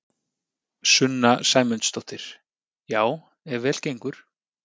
Sunna Sæmundsdóttir: Já ef vel gengur?